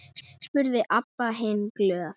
spurði Abba hin glöð.